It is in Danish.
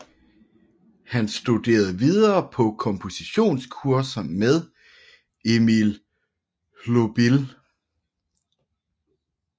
Han studerede videre på kompositionskurser med Emil Hlobil